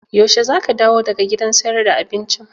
Yaushe zaka dawo daga gidan siyar da abincin?